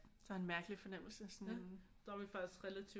Der er en mærkelig fornemmelse sådan